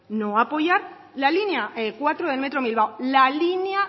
la línea cuatro del metro bilbao la línea